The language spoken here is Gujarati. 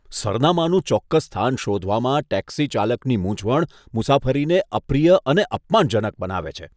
સરનામાનું ચોક્કસ સ્થાન શોધવામાં ટેક્સીચાલકની મૂંઝવણ મુસાફરીને અપ્રિય અને અપમાનજનક બનાવે છે.